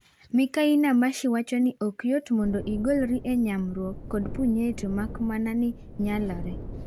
Mikai Namashi wacho ni ok yot mondo igolri e nyamruok kod punyeto mak mana ni nyalore.